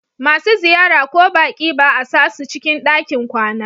Masu ziyara ko baƙi ba a sasu cikin ɗakin kwana.